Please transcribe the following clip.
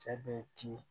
Cɛ bɛ ci